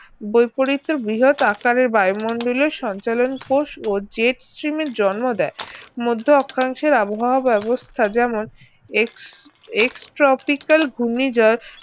বৈপরীত্য বৃহৎ আকারের বায়ুমণ্ডলের সঞ্চালন কোষ ও jet steam এর জন্ম দেয় মধ্য অক্ষাংশের আবহাওয়া ব্যবস্থা যেমন ex~ ex tropical ঘূর্ণিঝড়